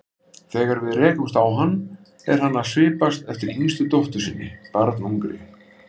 Þegar við rekumst á hann er hann að svipast eftir yngstu dóttur sinni, barnungri.